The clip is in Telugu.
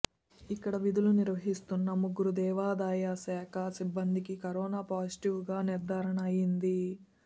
ఇక్కడ విధులు నిర్వహిస్తున్న ముగ్గురు దేవాదాయశాఖ సిబ్బందికి కరోనా పాజిటివ్గా నిర్ధారణ అయ్యింది